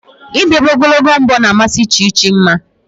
Ịdobe ogologo mbọ na amasị Chi Chi mma